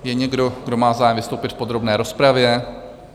Je někdo, kdo má zájem vystoupit v podrobné rozpravě?